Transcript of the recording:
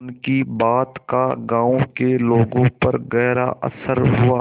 उनकी बात का गांव के लोगों पर गहरा असर हुआ